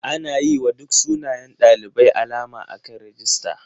Ana yiwa duk sunayen ɗalibai alama akan rijista.